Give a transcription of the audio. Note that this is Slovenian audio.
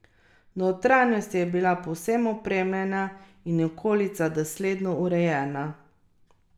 Notranjost je bila povsem opremljena in okolica dosledno urejena.